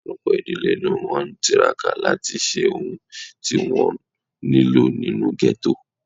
Ọ̀pọ̀lọpọ̀ ìdílé ló ń tiraka láti ṣe ohun tí wọ́n nílò nínú ghetto